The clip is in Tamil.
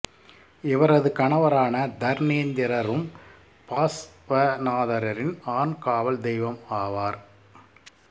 இவரது கணவரான தர்னேந்திரறும் பாஸ்வநாதாரின் ஆண் காவல் தெய்வம் ஆவார்